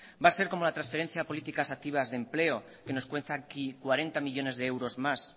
va a ser como las transferencias políticas activas de empleo que nos cuesta aquí cuarenta millónes de euros más